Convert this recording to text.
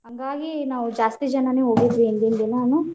ಹಾಂಗಾಗಿ ನಾವ್ ಜಾಸ್ತಿ ಜನಾನು ಹೋಗಿದ್ವಿ ಹಿಂದಿನ ದಿನಾನು.